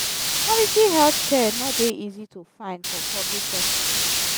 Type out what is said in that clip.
quality healthcare no dey easy to find for public hospital.